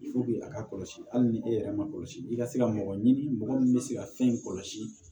a ka kɔlɔsi hali ni e yɛrɛ ma kɔlɔsi i ka se ka mɔgɔ ɲini mɔgɔ min bɛ se ka fɛn in kɔlɔsi